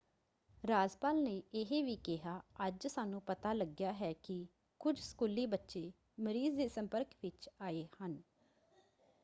ਰਾਜਪਾਲ ਨੇ ਇਹ ਵੀ ਕਿਹਾ ਅੱਜ ਸਾਨੂੰ ਪਤਾ ਲੱਗਿਆ ਹੈ ਕਿ ਕੁਝ ਸਕੂਲੀ ਬੱਚੇ ਮਰੀਜ਼ ਦੇ ਸੰਪਰਕ ਵਿੱਚ ਆਏ ਹਨ।